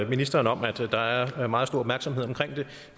ministeren om at der er meget stor opmærksomhed